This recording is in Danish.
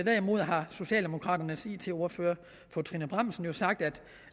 derimod har socialdemokraternes it ordfører fru trine bramsen jo sagt